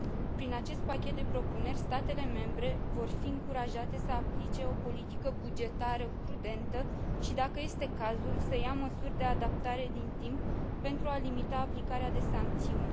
Prin acest pachet de propuneri, statele membre vor fi încurajate să aplice o politică bugetară prudentă și, dacă este cazul, să ia măsuri de adaptare din timp pentru a limita aplicarea de sancțiuni.